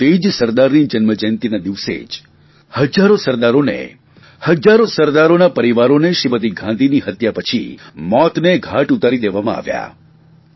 પરંતુ તે જ સરદારની જન્મજયંતિના દિને જ હજારો સરદારોને હજારો સરદારોના પરિવારોને શ્રીમતી ગાંધીની હત્યા પછી મોતને ઘાટ ઉતારી દેવામાં આવ્યા